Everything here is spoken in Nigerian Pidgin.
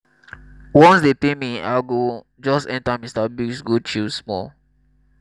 once dey pay me i go just enta mr biggs go chill small